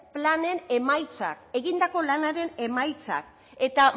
planen emaitzak egindako lanaren emaitzak eta